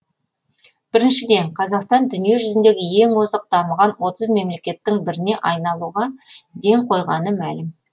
біріншіден қазақстан дүниежүзіндегі ең озық дамыған отыз мемлекеттің біріне айналуға ден қойғаны мәлім